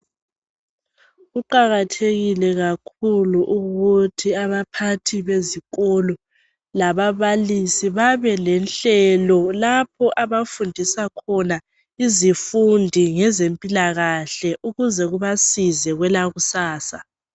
Kuqakathekile kakhulu ukuthi abaphathi bezikolo lababalisi babe lenhlelo lapho abafundisa khona izifundi ngezempilakahle ukuze kubasize kwelakusasa.